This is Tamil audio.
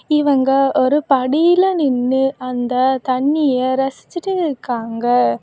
இவங்க ஒரு படியில நின்னு அந்த தண்ணிய ரசிச்சிட்டு இருக்காங்க.